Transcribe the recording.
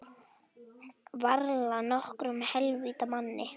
Varla nokkrum heilvita manni.